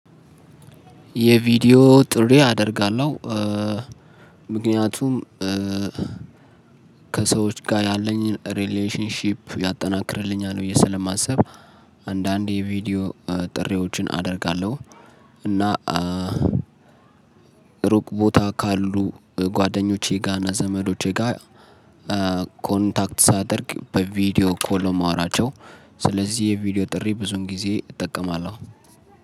የቪዲዮ ጥሪ አደርጋለሁ ምክንያቱም ከሰዎች ጋ ያለኝን ሪሌሽንሺፕ ያጠናክርልኛል ብዬ ስለማስብ አንዳንዴ ቪዲዮ ጥሪዎችን አደርጋለሁ። እና ሩቅ ቦታ ካሉ ጓደኞቼጋ ና ዘመዶቼ ጋ ኮንታክት ሳደርግ በቪዲዮ ኮል ነው ማውራቸው። ስለዚህ የቪዲዮ ጥሪ ብዙን ጊዜ እጠቀማለሁ።